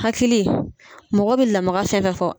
Hakili mɔgɔ bɛ lamaga fɛn o fɛn fɔ.